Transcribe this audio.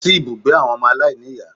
Lọ sí ibùgbé àwọn ọmọ aláìníìyá